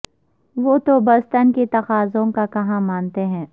وہ تو بس تن کے تقاضوں کا کہا مانتے ہیں